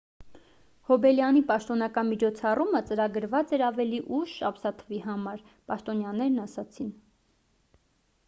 հոբելյանի պաշտոնական միջոցառումը ծրագրված էր ավելի ուշ ամսաթվի համար պաշտոնյաներն ասացին